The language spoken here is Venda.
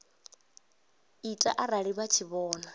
ita arali vha tshi vhona